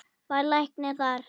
Var læknir þar.